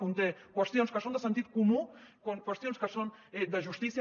conté qüestions que són de sentit comú qüestions que són de justícia